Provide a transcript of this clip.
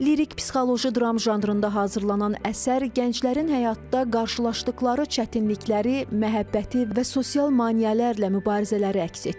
Lirik psixoloji dram janrında hazırlanan əsər gənclərin həyatda qarşılaşdıqları çətinlikləri, məhəbbəti və sosial maneələrlə mübarizələri əks etdirir.